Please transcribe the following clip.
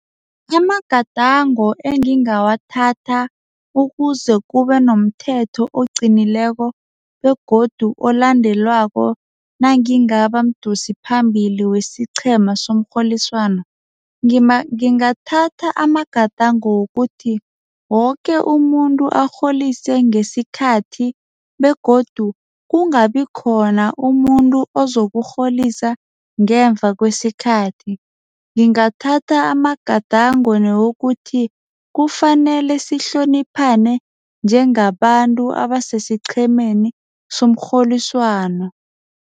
Amagadango engingawathatha ukuze kube nomthetho oqinileko begodu olandelwako. Nangingaba mdosiphambili wesiqhema somrholiswano, ngingathatha amagadango wokuthi woke umuntu arholise ngesikhathi begodu kungabi khona umuntu ozokurholisa ngemva kwesikhathi. Ngingathatha amagadango newokuthi kufanele sihloniphane njengabantu abasesiqhemeni somrholiswano.